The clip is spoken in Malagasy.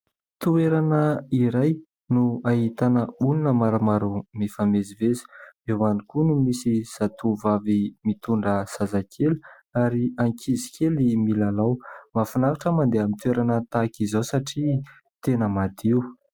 Toerana iray no ahitana olona maromaro mifamezivezy. Eo ihany koa no misy zatovovavy mitondra zazakely ary ankizy kely milalao. Mahafinaritra mandeha amin'ny toerana tahaka izao satria tena madio.